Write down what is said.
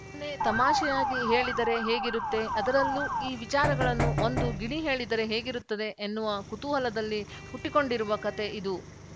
ನ್ನೇ ತಮಾಷೆಯಾಗಿ ಹೇಳಿದರೆ ಹೇಗಿರುತ್ತದೆ ಅದರಲ್ಲೂ ಈ ವಿಚಾರಗಳನ್ನು ಒಂದು ಗಿಣಿ ಹೇಳಿದರೆ ಹೇಗಿರುತ್ತದೆ ಎನ್ನುವ ಕುತೂಹಲದಲ್ಲಿ ಹುಟ್ಟಿಕೊಂಡಿರುವ ಕತೆ ಇದು